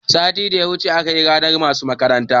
Satin da ya wuce akayi ranar masu makarantar